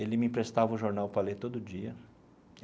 Ele me emprestava o jornal para ler todo dia.